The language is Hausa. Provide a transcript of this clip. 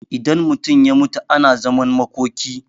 idan mutum ya mutu ana zaman makoki